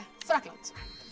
Frakkland